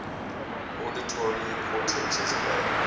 auditory cortexes play